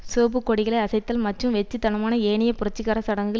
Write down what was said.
சிவப்பு கொடிகளை அசைத்தல் மற்றும் வெற்றுத்தனமான ஏனைய புரட்சிகர சடங்குகள்